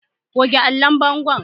Goge allon bango!